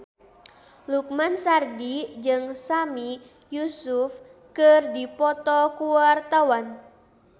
Lukman Sardi jeung Sami Yusuf keur dipoto ku wartawan